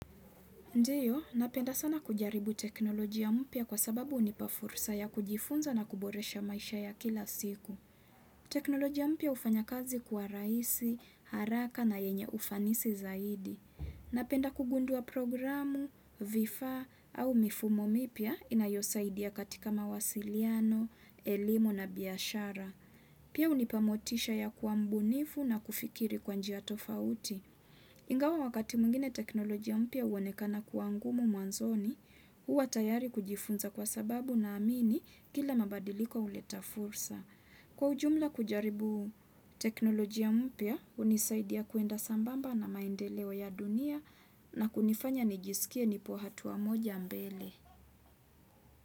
Ndiyo napenda sana kujaribu teknolojia mpya kwa sababu hunipa fursa ya kujifunza na kuboresha maisha ya kila siku teknolojia mpya hufanya kazi kuwa rahisi haraka na yenye ufanisi zaidi Napenda kugundua programu vifaa au mifumo mipya inayosaidia katika mawasiliano elimu na biashara Pia hunipa motisha ya kuwa mbunifu na kufikiri kwa njia tofauti Ingawa wakati mwingine teknolojia mpya huonekana kuwa ngumu mwanzoni huwa tayari kujifunza kwa sababu naamini kila mabadiliko huleta fursa Kwa ujumla kujaribu teknolojia mpya hunisaidia kuenda sambamba na maendeleo ya dunia na kunifanya nijisikie nipo hatua moja mbele.